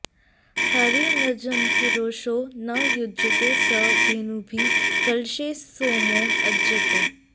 हरिं मृजन्त्यरुषो न युज्यते सं धेनुभिः कलशे सोमो अज्यते